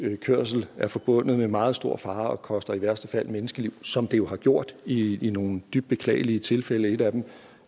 kørsel er forbundet med meget stor fare og koster i værste fald menneskeliv som det jo har gjort i nogle dybt beklagelige tilfælde et af dem